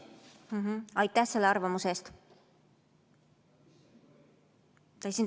Aitäh selle arvamuse eest!